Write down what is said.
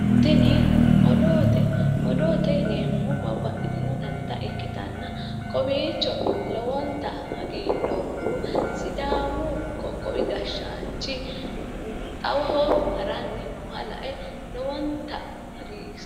tini odoote odoote yineemmoti babbaxitino danita ikkitanna kowiicho lowonta hagiidhoommahu sidaamu qoqowi gashshaanchi xawoho haranni nooha lae lowonta hagiirsiisinoe.